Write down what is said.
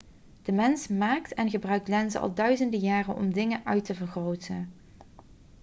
de mens maakt en gebruikt lenzen al duizenden jaren om dingen uit te vergroten